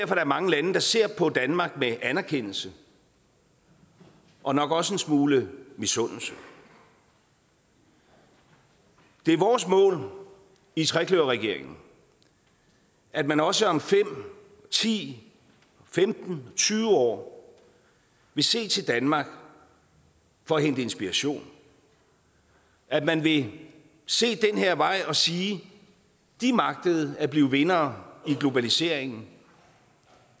der er mange lande der ser på danmark med anerkendelse og nok også en smule misundelse det er vores mål i trekløverregeringen at man også om fem ti femten tyve år vil se til danmark for at hente inspiration at man vil se den her vej og sige de magtede at blive vindere i globaliseringen